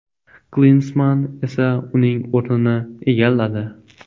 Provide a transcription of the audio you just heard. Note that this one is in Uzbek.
Klinsmann esa uning o‘rnini egalladi.